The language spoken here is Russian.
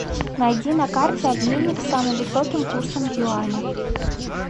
найди на карте обменник с самым высоким курсом юаня